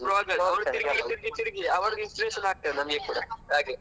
famous blogger ತೀರ್ಗಿ ತೀರ್ಗಿ ತೀರ್ಗಿ inspiration ಆಗ್ತದೆ ನಮ್ಗೆ ಕೂಡಾ ಹಾಗೆ.